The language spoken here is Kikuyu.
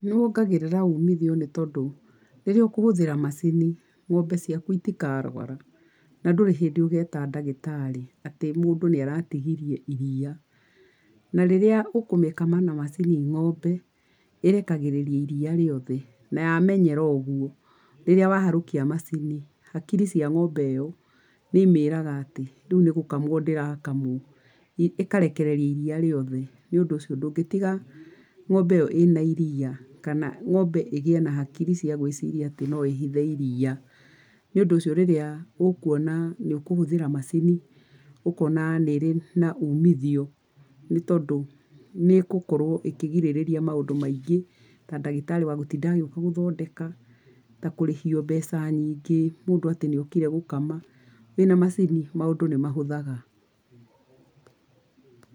Nĩwongagĩrĩra ũmithio nĩtondũ, rĩrĩa ũkũhũthĩra macini, ng’ombe ciaku itikarwara, na ndũrĩ hĩndĩ ũgĩta ndagĩtarĩ, atĩ mũndũ nĩaratigirie iriia. Na rĩrĩa ũkũmĩkama na macini ng’ombe ĩrekagĩrĩria iriia rĩothe na yamenyera ũguo, rĩrĩa waharũkia macini, hakiri cia ng’ombe ĩo, nĩimĩrĩga atĩ rĩu nĩgũkamwo ndĩrakamwo. Ĩkarekereria iriia rĩothe, Nĩũndũ ũcio ndũngĩtiga ng’ombe ĩyo ĩna iria kana ng’ombe ĩgĩe na hakiri cia gwĩciria atĩ no ĩhithe iria. Nĩũndũ ũcio rĩrĩa ũkuona nĩũkũhũthĩra macini, ũkona nĩ irĩ na ũmithio, nĩtondũ nĩ gũkorwo ĩkĩgirĩrĩria maũndũ maingĩ, ta ndagĩtari wa gũtinda agĩũka gũthondeka, na kũrĩhio mbeca nyingĩ mũndũ atĩ nĩokire gũkama. Wĩna macini maũndũ nĩmahũthaga.